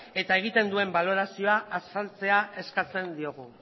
eta egiten duen balorazioa azaltzea eskatzen diogu